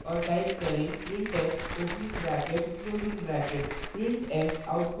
और type करें printf opening bracket closing bracket